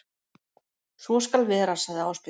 Svo skal vera sagði Ásbjörn.